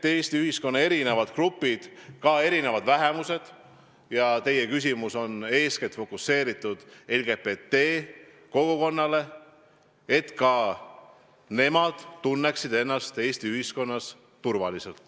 Eesti ühiskonna erinevad grupid, ka erinevad vähemused – teie küsimus on fokuseeritud eeskätt LGBT kogukonnale –, peavad tundma ennast Eesti ühiskonnas turvaliselt.